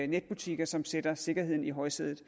netbutikker som sætter sikkerheden i højsædet